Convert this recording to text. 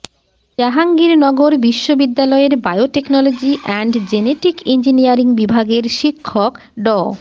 জাহাঙ্গীরনগর বিশ্ববিদ্যালয়ের biotechnology and genetic engineering বিভাগের শিক্ষক ড